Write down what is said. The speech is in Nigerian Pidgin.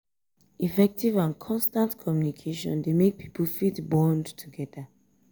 effective and constant communication de make pipo fit bond together